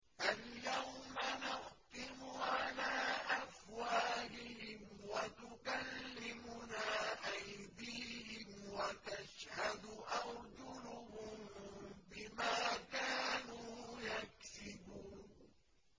الْيَوْمَ نَخْتِمُ عَلَىٰ أَفْوَاهِهِمْ وَتُكَلِّمُنَا أَيْدِيهِمْ وَتَشْهَدُ أَرْجُلُهُم بِمَا كَانُوا يَكْسِبُونَ